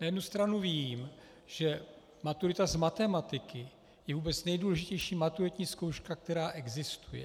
Na jednu stranu vím, že maturita z matematiky je vůbec nejdůležitější maturitní zkouška, která existuje.